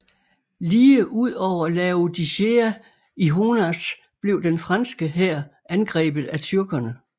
Lige ud over Laodicea i Honaz blev den franske hær angrebet af tyrkerne